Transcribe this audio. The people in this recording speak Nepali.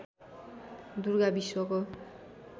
दुर्गा विश्वको